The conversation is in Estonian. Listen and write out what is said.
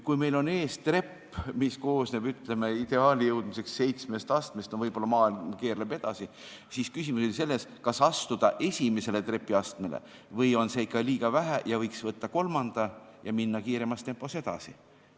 Kui meil on ees trepp, mis koosneb, ütleme, ideaalini jõudmiseks seitsmest astmest, siis küsimus oli selles, kas astuda esimesele trepiastmele või on seda liiga vähe – no võib-olla maailm keerleb edasi – ja võiks võtta kolmanda ja minna kiiremas tempos edasi.